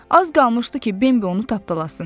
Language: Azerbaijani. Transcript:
Az qalmışdı ki, Bembə onu tapdalasın.